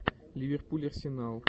ливерпуль арсенал